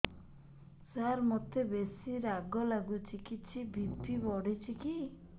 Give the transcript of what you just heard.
ସାର ମୋତେ ବେସି ରାଗ ଲାଗୁଚି କିଛି ବି.ପି ବଢ଼ିଚି କି